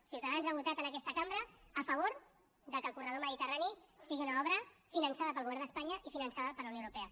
ciutadans ha votat en aquesta cambra a favor que el corredor mediterrani sigui una obra finançada pel govern d’espanya i finançada per la unió europea